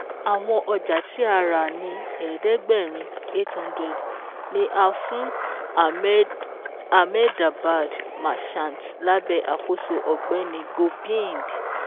Àwọn ọjà tí a rà ní ẹ̀ẹ́dẹ́gbẹ̀rin(800) ni a fún Ahmedabad Merchants lábẹ̀ àkóso Ọ̀gbẹ́ni Gobind